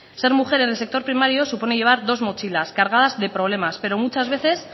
ser mujer en el sector primario supone llevar dos mochilas cargadas de problemas pero muchas veces